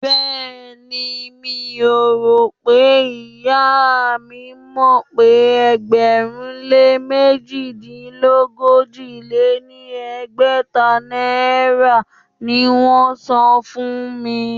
Béèni, mi ò rò pé ìyá mi mọ̀ pé ẹgbẹ̀rún-lé -mèjìdínogójì-lé-ní-ẹgbẹ́ta náírà ni wón ń san fún mi.